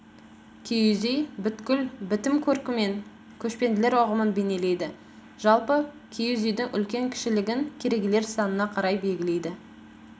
киіз үй бүткіл бітім-көркімен көшпенділер ұғымын бейнелейді жалпы киіз үйдің үлкен кішілігін керегелер санына қарай белгілейді